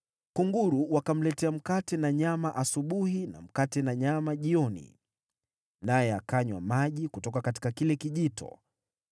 Kunguru wakamletea mkate na nyama asubuhi na mkate na nyama jioni, naye akanywa maji kutoka kile kijito.